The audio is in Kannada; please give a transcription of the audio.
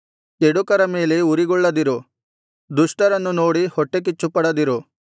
ಕೆಡುಕರ ಮೇಲೆ ಉರಿಗೊಳ್ಳದಿರು ದುಷ್ಟರನ್ನು ನೋಡಿ ಹೊಟ್ಟೆಕಿಚ್ಚುಪಡದಿರು